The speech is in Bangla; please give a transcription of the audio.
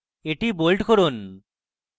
এটি bold করুন